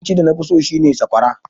Abinci da nafi so shine sakwara.